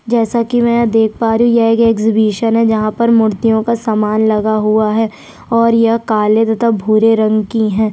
जैसा की मैं देख पा रही हु यह एक एग्जिबिशन जहाँ पर मूर्तियों का सामान लगा हुआ है और यह काले तथा भूरे रंग की है।